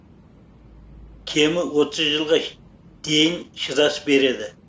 кемі отыз жылға дейін шыдас береді